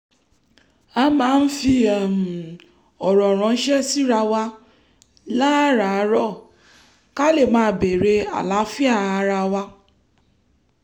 a máa ń fi um ọ̀rọ̀ ránṣẹ́ síra wa láràárọ̀ ká lè máa bèèrè àlàáfíà ara wa